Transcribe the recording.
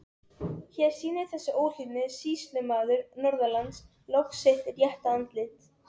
Hér sýnir þessi óhlýðni sýslumaður norðanlands loks sitt rétta andlit!